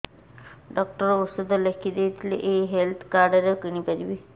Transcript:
doctor ଔଷଧ ଲେଖିଦେଇଥିଲେ ଏଇ ହେଲ୍ଥ କାର୍ଡ ରେ କିଣିପାରିବି